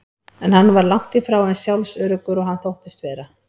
En hann var langt í frá eins sjálfsöruggur og hann þóttist vera.